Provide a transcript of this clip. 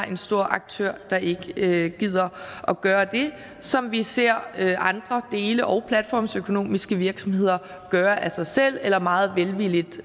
en stor aktør der ikke gider at gøre det som vi ser andre dele og platformsøkonomiske virksomheder gøre af sig selv eller meget velvilligt